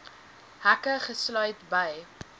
hekke gesluit bly